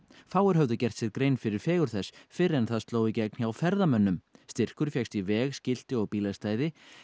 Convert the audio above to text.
fáir höfðu gert sér grein fyrir fegurð þess fyrr en það sló í gegn hjá ferðamönnum styrkur fékkst í veg skilti og bílastæði